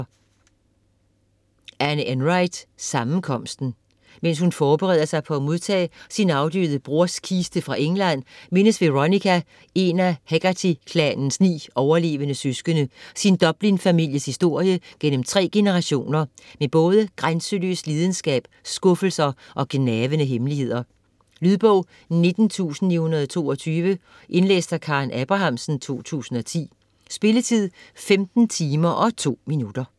Enright, Anne: Sammenkomsten Mens hun forbereder sig på at modtage sin afdøde broders kiste fra England, mindes Veronica, en af Hegarty-klanens ni overlevende søskende, sin Dublin-families historie gennem tre generationer med både grænseløs lidenskab, skuffelser og gnavende hemmeligheder. Lydbog 19922 Indlæst af Karen Abrahamsen, 2010. Spilletid: 15 timer, 2 minutter.